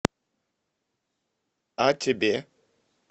а тебе